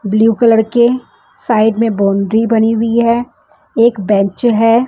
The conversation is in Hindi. ब्लू कलर के साइड में बाउंड्री बनी हुई है एक बेंच है।